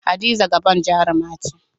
Hadiza Gabon jaruma ce.